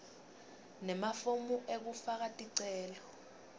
nemafomu ekufaka ticelo